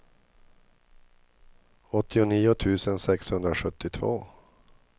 åttionio tusen sexhundrasjuttiotvå